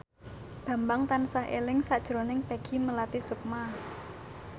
Bambang tansah eling sakjroning Peggy Melati Sukma